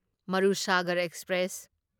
Marusagar express